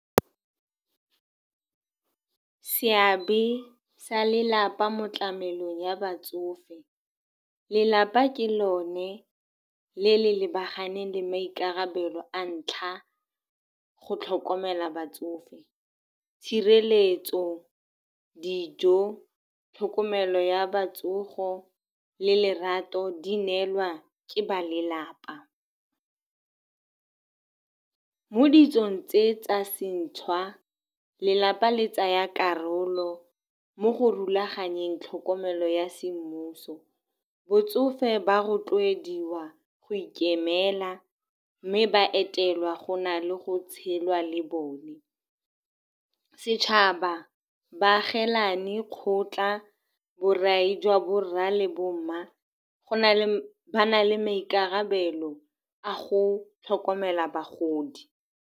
Seabe sa lelapa mo tlamelong ya batsofe, Lelapa ke lone le lebaganeng le maikarabelo a ntlha go tlhokomela batsofe. Tshireletso, dijo, tlhokomelo ya batsofe le lerato di neelwa ke ba lelapa. Mo ditsong tse tsa sešwa, lelapa le tsaya karolo mo go rulaganyeng tlhokomelo ya semmuso. Batsofe ba rotloediwa go ikemela, mme ba etelwa go na le go tshela le bone. Setšhaba, baagisane, kgotla, borai jwa borra le bomma, go na le ba na le maikarabelo a go tlhokomela bagodi.